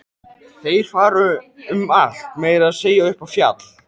Þeir fara um allt, meira að segja upp í fjall.